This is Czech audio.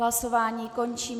Hlasování končím.